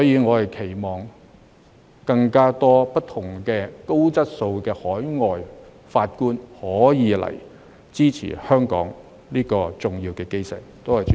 我期望更多高質素的海外法官可以來香港，支持香港這個重要基石。